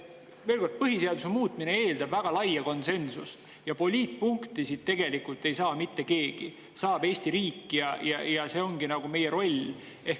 Veel kord, põhiseaduse muutmine eeldab väga laia konsensust ja poliitpunkti siit tegelikult ei saa mitte keegi, saab Eesti riik, ja see ongi meie roll.